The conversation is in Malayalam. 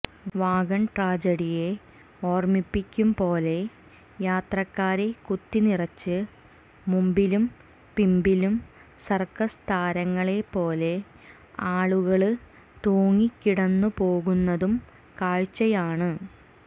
വാഗണ് ട്രാജഡിയെ ഓര്മിപ്പിക്കുംപോലെ യാത്രക്കാരെ കുത്തിനിറച്ച് മുമ്പിലും പിമ്പിലും സര്ക്കസ് താരങ്ങളെപ്പോലെ ആളുകള് തൂങ്ങിക്കിടന്നുപോകുന്നതും കാഴ്ചയാണ്